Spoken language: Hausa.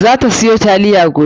Za ta siyo taliya gobe.